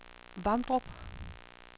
Vamdrup